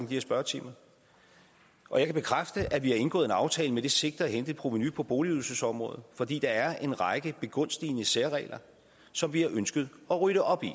her spørgetimer og jeg kan bekræfte at vi har indgået en aftale med det sigte at hente et provenu på boligydelsesområdet fordi der er en række begunstigende særregler som vi har ønsket at rydde op i